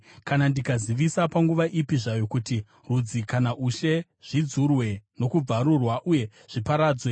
Kana ndikazivisa panguva ipi zvayo kuti rudzi kana ushe zvidzurwe nokubvarurwa uye zviparadzwe,